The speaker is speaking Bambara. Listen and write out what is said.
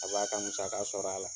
A b'a ka musaka sɔrɔ a la.